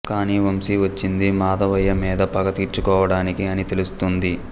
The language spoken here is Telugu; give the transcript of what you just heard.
కానీ వంశీ వచ్చింది మాధవయ్య మీద పగ తీర్చుకోవడానికి అని తెలుస్తుంది